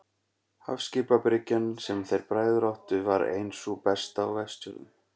Hafskipabryggjan, sem þeir bræður áttu, var ein sú besta á Vestfjörðum.